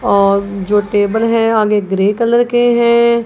और जो टेबल हैं आगे ग्रे कलर के हैं।